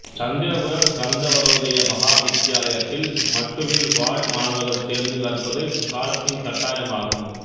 சந்திரபுர ஸ்கந்தவரோதய மகா வித்தியாலயத்தில் மட்டுவில் வாழ் மானவர்கள் சேர்ந்து கற்பது காலத்தின் கட்டாயமாகும்